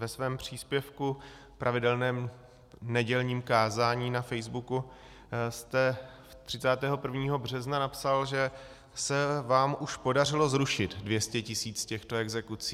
Ve svém příspěvku v pravidelném nedělním kázání na Facebooku jste 31. března napsal, že se vám už podařilo zrušit 200 tisíc těchto exekucí.